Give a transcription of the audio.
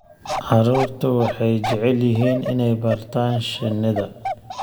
Carruurtu waxay jecel yihiin inay bartaan shinnida.